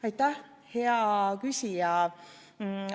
Aitäh, hea küsija!